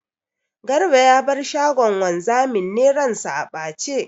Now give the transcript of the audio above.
Garba ya bar shagon wanzamin ne ran sa a ɓace.